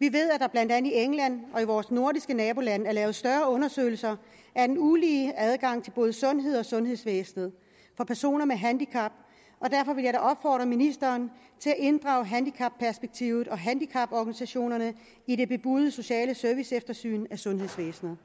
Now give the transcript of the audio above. vi ved at der blandt andet i england og i vores nordiske nabolande er lavet større undersøgelser af den ulige adgang til både sundhed og sundhedsvæsen for personer med handicap og derfor vil jeg da opfordre ministeren til at inddrage handicapperspektivet og handicaporganisationerne i det bebudede sociale serviceeftersyn af sundhedsvæsenet